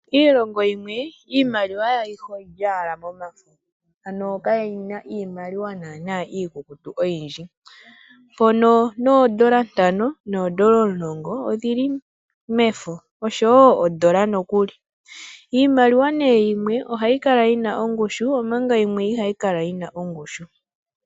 Iilongo yimwe , iimaliwa yawo ayihe oyili owala momafo. Ano kayina iimaliwa naana iikukutu oyindji. Mpono noondola ntano noondola omulongo odhili mefo, oshowo ondola nokuli. Iimaliwa nee yimwe ohayi kala yina ongushu omanga yimwe iha yi kala yina ongushu.